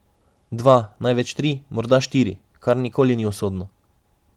Dva, največ tri, morda štiri, kar nikoli ni usodno.